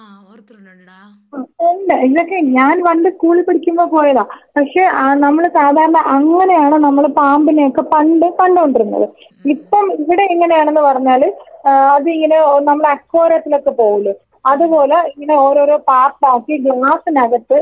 ആ ഒണ്ട് ഇതൊക്കെ ഞാൻ പണ്ട് സ്കൂളിൽ പഠിക്കുമ്പോ പോയതാ പക്ഷേ ആ നമ്മള് സാധാരണ അങ്ങനെയാണ് നമ്മള് പാമ്പിനെ ഒക്കെ പണ്ട് കണ്ടോണ്ടിരുന്നത് ഇപ്പം ഇവിടെയെങ്ങനെയാണെന്ന് പറഞ്ഞാല് ആ അതിങ്ങനെ ആ നമ്മള് അക്വാറിയത്തിലൊക്കെ പോവില്ലേ അതുപോലെ ഇങ്ങനെ ഓരോരോ പാർട്ടാക്കി ഗ്ലാസ്സിനകത്ത് അതങ്ങനെ ചെയ്തിട്ടുണ്ട്.